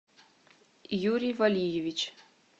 юрий валиевич